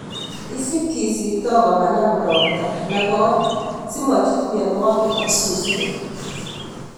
Isip kisipto komanam ropta nekoi simochut mionwokik ak susurik.